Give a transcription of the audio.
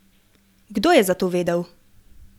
Kdo je za to vedel?